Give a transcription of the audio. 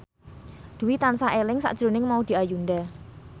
Dwi tansah eling sakjroning Maudy Ayunda